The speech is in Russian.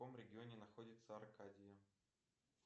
в каком регионе находится аркадия